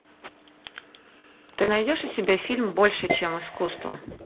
ты найдешь у себя фильм больше чем искусство